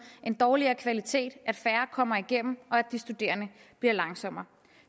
en dårligere kvalitet at færre kommer igennem og at de studerende bliver langsommere